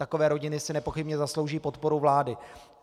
Takové rodiny si nepochybně zaslouží podporu vlády.